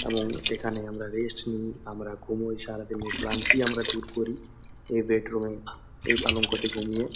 এবং এখানে আমরা রেস্ট নি আমরা ঘুমোই সারাদিনের ক্লান্তি আমরা দূর করি এই বেডরুম এ এই পালঙ্কতে ঘুমিয়ে।